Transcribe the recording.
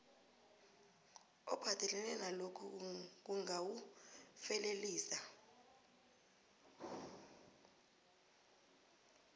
ophathelene nalokhu kungawufelelisa